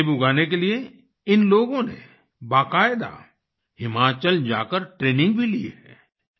सेब उगाने के लिए इन लोगों ने बाकायदा हिमाचल जाकर ट्रेनिंग भी ली है